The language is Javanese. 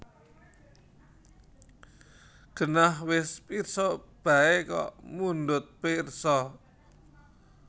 Genah wis pirsa baé kok mundhut pirsa